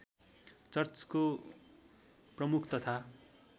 चर्चको प्रमुख तथा